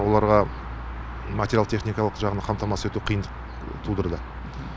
оларға материалдық техникалық жағынан қамтамасыз ету қиындық тудырды